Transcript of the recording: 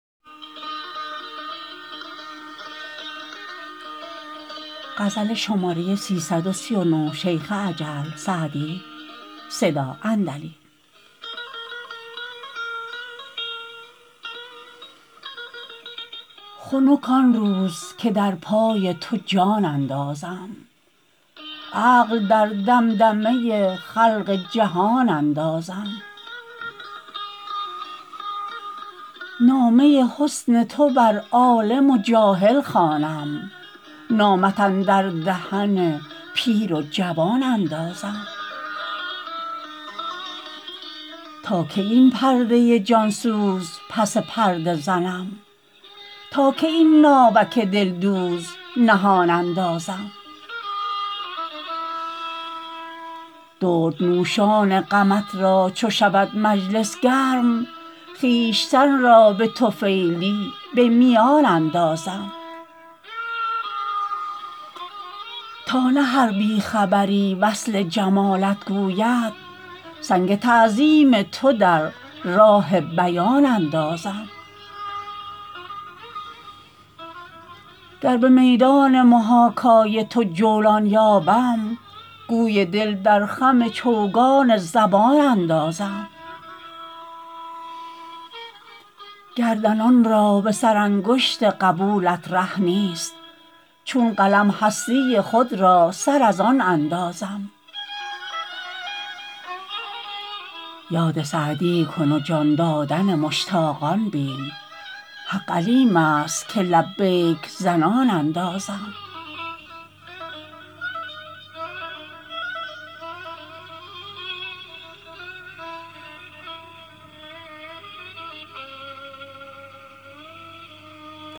خنک آن روز که در پای تو جان اندازم عقل در دمدمه خلق جهان اندازم نامه حسن تو بر عالم و جاهل خوانم نامت اندر دهن پیر و جوان اندازم تا کی این پرده جان سوز پس پرده زنم تا کی این ناوک دلدوز نهان اندازم دردنوشان غمت را چو شود مجلس گرم خویشتن را به طفیلی به میان اندازم تا نه هر بی خبری وصف جمالت گوید سنگ تعظیم تو در راه بیان اندازم گر به میدان محاکای تو جولان یابم گوی دل در خم چوگان زبان اندازم گردنان را به سرانگشت قبولت ره نیست چون قلم هستی خود را سر از آن اندازم یاد سعدی کن و جان دادن مشتاقان بین حق علیم است که لبیک زنان اندازم